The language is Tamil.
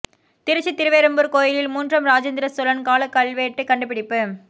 திருச்சி திருவெறும்பூர் கோயிலில் மூன்றாம் ராஜேந்திர சோழன் கால கல்வெட்டு கண்டுபிடிப்பு